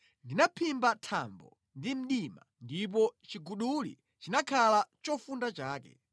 Ndinaphimba thambo ndi mdima ndipo chiguduli chinakhala chofunda chake.”